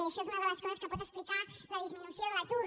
això és una de les coses que pot explicar la disminució de l’atur